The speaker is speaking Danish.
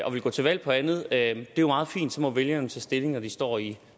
og vil gå til valg på andet er jo meget fint så må vælgerne tage stilling når de står i